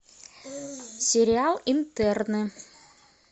сериал интерны